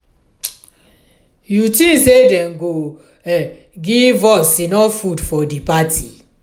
you tink say dem go um give us enough food for di party?